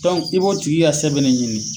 Tɔn i b'o tigi ka sɛbɛn ne ɲini.